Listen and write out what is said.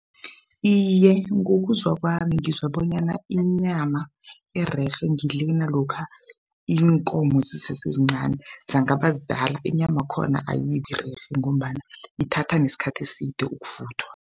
Iye, ngokuzwa kwami ngizwa bonyana inyama ererhe ngilena lokha iinkomo zisesezincani zangaba zidala inyama yakhona ayibirerhe ngombana ithatha nesikhathi eside ukuvuthwa.